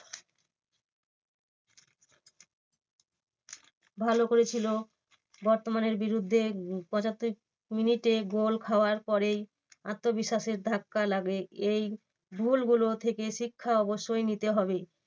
ভালো করেছিল বর্তমানের বিরুদ্ধে পঁচাত্তর মিনিটে goal খাওয়ার পরেই আত্মবিশ্বাসে ধাক্কা লাগে। এই goal গুলো থেকে শিক্ষা অবশ্যই নিতে হবে।